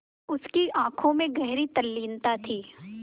उसकी आँखों में गहरी तल्लीनता थी